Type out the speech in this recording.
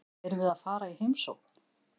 Erum við að fara í heimsókn?